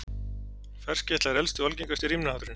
Ferskeytla er elsti og algengasti rímnahátturinn.